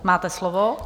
Máte slovo.